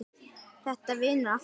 Þetta vinnur allt saman.